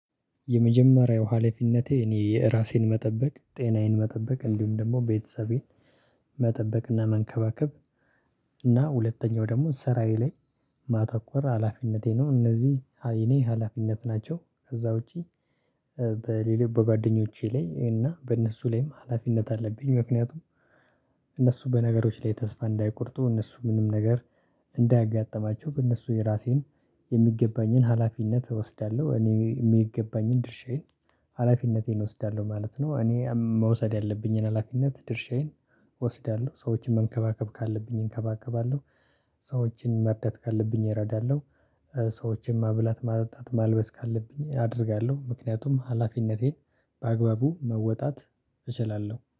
የመጀመሪያው ሀላፊነቴ እኔ የራሴን መጠበቅ ጤናዬን መጠበቅ እንዲሁም ደግሞ ቤተሰቤን መጠበቅና መንከባከብ። እና ሁለተኛው ደግሞ ሰራዬ ላይ ማተኮር ሀላፊነቴ ነው እነዚህ የእኔ ሀላፊነት ናቸው። ከዛ ውጪ በሌላው በጓደኞቼ ላይ እና በእነሱ ላይም ሀላፊነት አለብኝ። ምክንያቱም እነሱ በነገሮች ላይ ተስፋ እንዳይቆርጡ እነሱ ምንም ነገር እንዳያጋጥማቸው በእነሱ የራሴን የሚገባኝን ሀላፊነት እወስዳለሁ። እኔ የሚገባኝን ድርሻዬን ሀላፊነቴን እወስዳለሁ ማለት ነው። እኔ መውሰድ ያለብኝን ሀላፊነት ድርሻዬን እወስዳለሁ። ሰዎችን መንከባከብ ካለብኝ እንከባከባለሁ። ሰዎችን መርዳት ካለብኝ እረዳለሁ። ሰዎችን ማብላት ማጠጣት ማልበስ ካለብኝ አደርጋለሁ ምክንያቱም ሀላፊነቴን በአግባቡ መወጣት እችላለሁ